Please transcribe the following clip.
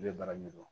I bɛ baara min dɔn